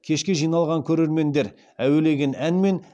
кешке жиналған көрермендер әуелеген әнмен